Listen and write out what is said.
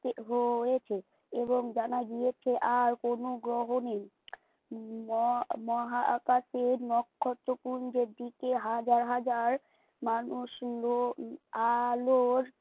হেয় হয়েছে এবং জানা গিয়েছে আর কোনো গ্রহ নেই। উম ম মহাকাশের নক্ষত্রপুঞ্জের দিকে হাজার হাজার মানুষ সুন্দর আলোর থে